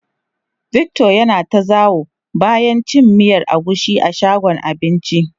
Victor ya na ta zawo bayan cin miyan agushi a shagon abincin.